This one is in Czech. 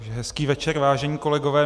Hezký večer, vážení kolegové.